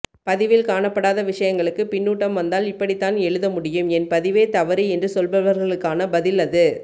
பதிவில் காணப்படாத விஷயங்களுக்கு பின்னூட்டம் வந்தால் இப்படித்தான் எழுத முடியும் என் பதிவே தவறு என்று சொல்பவர்களுக்கான பதில் அது